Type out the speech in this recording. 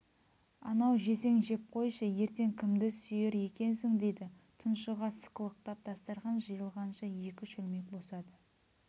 анау жесең жеп қойшы ертең кімді сүйер екенсің дейді тұншыға сықылықтап дастархан жиылғанша екі шөлмек босады